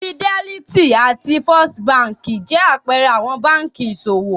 Fidelity àti First Báńkì jẹ́ àpẹẹrẹ àwọn báńkì ìṣòwò.